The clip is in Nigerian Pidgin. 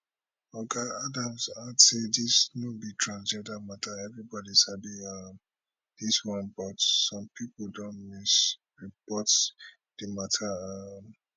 oga adams add say dis no be transgender mata everibodi sabi um dis one but some pipo don misreport di mata um